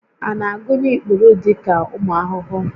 A na-agụnye ikpuru dị ka ụmụ ahụhụ?